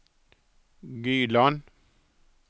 Gyland